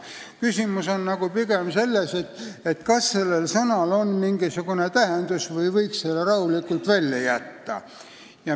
Küsimus on pigem selles, kas sellel sõnal on mingisugune tähendus või võiks selle rahulikult välja jätta.